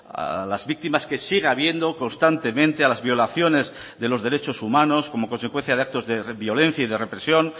a las víctimas que sigue habiendo constantemente a las violaciones de los derechos humanos como consecuencia de actos de violencia y de represión